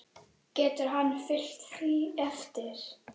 Getur hann fylgt því eftir?